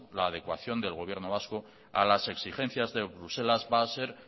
la adecuación del gobierno vasco a las exigencias de bruselas va a ser